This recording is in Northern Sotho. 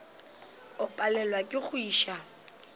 o palelwa ke go iša